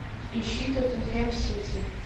ищи тоттенхэм сити